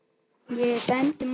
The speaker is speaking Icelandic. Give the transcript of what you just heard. Ég er dæmdur maður.